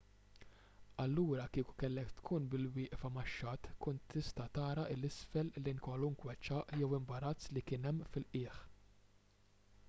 allura kieku kellek tkun bil-wieqfa max-xatt tkun tista' tara l isfel lejn kwalunkwe ċagħaq jew imbarazz li kien hemm fil-qiegħ